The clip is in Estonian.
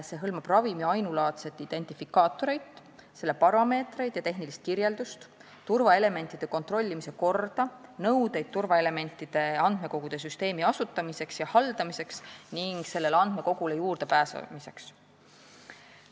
See hõlmab ravimi ainulaadset identifikaatorit, selle parameetreid ja tehnilist kirjeldust, turvaelementide kontrollimise korda ning turvaelementide andmekogude süsteemi asutamisele ja haldamisele ning sellele juurdepääsemisele kehtestatud nõudeid.